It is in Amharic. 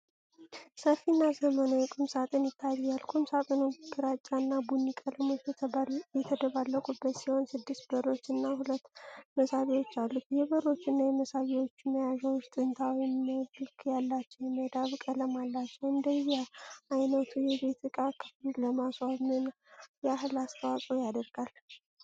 ሰፊና ዘመናዊ ቁም ሳጥን ይታያል። ቁም ሳጥኑ ግራጫና ቡኒ ቀለሞች የተደባለቁበት ሲሆን ስድስት በሮች እና ሁለት መሳቢያዎች አሉት። የበሮቹና የመሳቢያዎቹ መያዣዎች ጥንታዊ መልክ ያላቸው የመዳብ ቀለም አላቸው። እንደዚህ ዓይነቱ የቤት ዕቃ ክፍሉን ለማስዋብ ምን ያህል አስተዋፅዖ ያደርጋል?